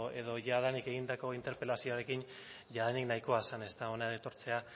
edo jadanik egindako interpelazioarekin jadanik nahikoa zen ezta hona etortzea